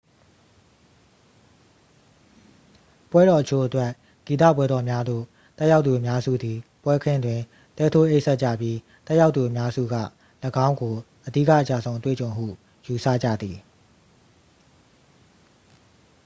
ပွဲတော်အချို့အတွက် ဂီတပွဲတော်များသို့ တက်ရောက်သူအများစုသည် ပွဲခင်းတွင် တဲထိုးအိပ်စက်ကြပြီး တက်ရောက်သူအများစုက ၎င်းကို အဓိက အကျဆုံး အတွေ့အကြုံဟု ယူဆကြသည်